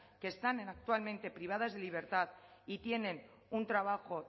que están actualmente privadas de libertad y tienen un trabajo